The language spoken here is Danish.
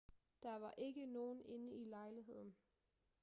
der var ikke nogen inde i lejligheden